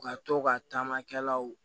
U ka to ka taamakɛlaw